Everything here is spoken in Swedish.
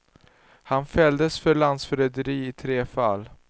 Han fälldes för landsförräderi i tre fall.